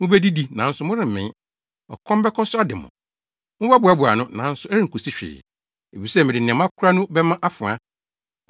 Mubedidi, nanso moremmee; ɔkɔm bɛkɔ so ade mo. Mobɛboaboa ano, nanso ɛrenkosi hwee, efisɛ mede nea moakora no bɛma afoa.